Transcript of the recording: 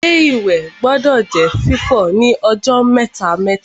Ilé-ìwẹ̀ gbọdọ̀ jẹ́ fífọ̀ ní ọjọ́ mẹ́ta-mẹ́ta